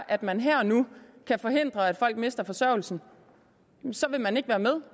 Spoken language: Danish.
at man her og nu kan forhindre at folk mister forsørgelsen vil man ikke være med